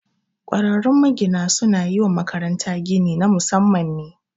Ƙwararrun magina su na yi wa makaranta gini na Musamman ne